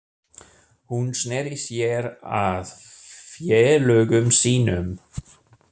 Hún sneri sér að félögum sínum.